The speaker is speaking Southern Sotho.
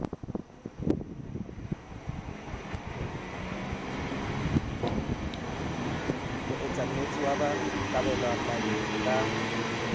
moemanotshi ya ba kabelwamanong ka